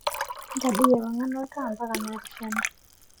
ntadoi ewangan oltaa mpaka naapishana